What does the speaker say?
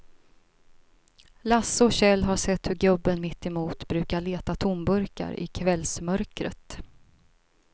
Lasse och Kjell har sett hur gubben mittemot brukar leta tomburkar i kvällsmörkret.